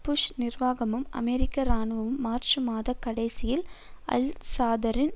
push நிர்வாகமும் அமெரிக்க இராணுவமும் மார்ச் மாத கடைசியில் அல் சதாரின்